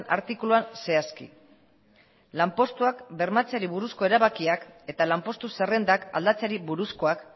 artikuluan zehazki lanpostuak bermatzeari buruzko erabakiak eta lanpostu zerrendak aldatzeari buruzkoak